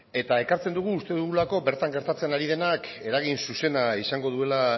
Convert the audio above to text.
ekartzen dugu uste dugulako bertan gertatzen ari denak eragin zuzena izango duela